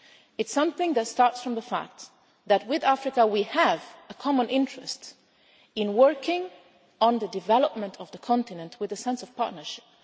It is something that starts from the fact that with Africa we have a common interest in working on the development of the continent with a sense of partnership.